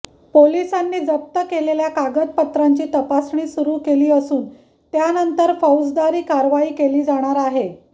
पोलिसांनी जप्त केलेल्या कागदपत्रांची तपासणी सुरू केली असून त्यानंतर फौजदारी कारवाई केली जाणार आहे